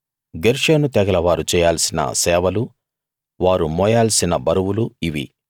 గెర్షోను తెగల వారు చేయాల్సిన సేవలూ వారు మోయాల్సిన బరువులూ ఇవి